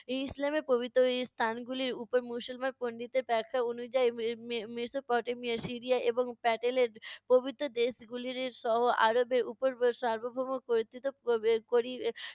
ইসলামের পবিত্র স্থানগুলির উপর মুসলমান পণ্ডিতদের ব্যাখা অনুযায়ী, মে~ মে~ মেসোপটেমিয়া, সিরিয়া এবং প্যাটেলের প্রভৃত দেশগুলির সহ আরবের উপর সার্বভৌম কতৃত্ব করি~